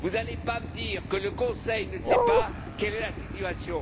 Vous n'allez pas me dire que le Conseil ne sait pas quelle est la situation.